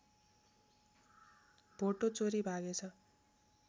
भोटो चोरी भागेछ